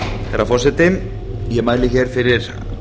herra forseti ég mæli hér fyrir